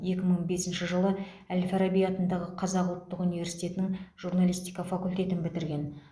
екі мың бесінші жылы әл фараби атындағы қазақ ұлттық университетінің журналистика факультетін бітірген